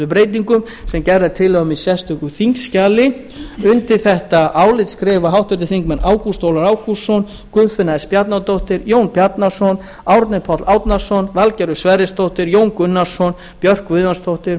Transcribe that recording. breytingum sem gerð er tillaga um í sérstöku þingskjali undir þetta álit skrifa háttvirtir þingmenn ágúst ólafur ágústsson guðfinna s bjarnadóttir jón bjarnason árni páll árnason valgerður sverrisdóttir jón gunnarsson björk guðjónsdóttir